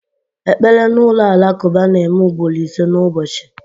Ekpere n'ụlọ alakụba na-eme ugboro ise n'ụbọchị